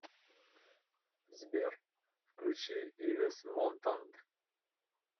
сбер включи ивес монтанд